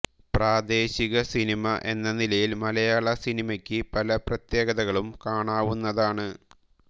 പ്രാദേശിക സിനിമ എന്ന നിലയിൽ മലയാള സിനിമയ്ക്ക് പല പ്രത്യേകതകളും കാണാവുന്നതാണു